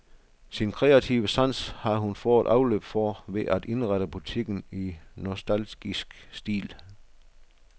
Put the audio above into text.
Sin kreative sans har hun fået afløb for ved at indrette butikken i nostalgisk stil.